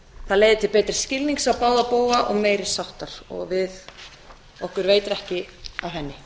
það leiðir til betri skilnings á báða bóga og meiri sáttar og okkur veitir ekki af henni